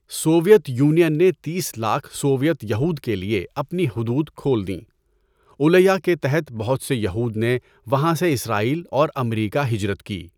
Soviet Union نے تیس لاکھ سویت یہود کے لیے اپنی حدود کھول دیں، عُلیَہ کے تحت بہت سے یہود نے وہاں سے اسرائیل اور امریکا ہجرت کی۔